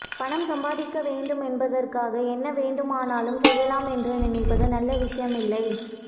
பணம் சம்பாதிக்க வேண்டும் என்பதற்காக என்ன வேண்டுமானாலும் செய்யலாம் என்று நினைப்பது நல்ல விஷயமில்லை